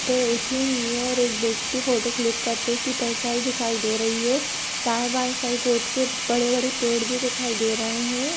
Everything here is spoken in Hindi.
पे उठी हुई है एक व्यक्ति फोटो क्लिक करते हुए उसकी परछाई दिखाई रही है दाँयें बांयें साइड रोड के बड़े बड़े पेड़ भी दिखाई दे रहे है।